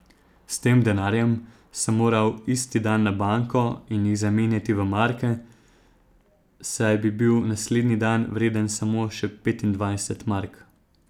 S tem denarjem sem moral isti dan na banko in jih zamenjati v marke, saj bi bil naslednji dan vreden samo še petindvajset mark.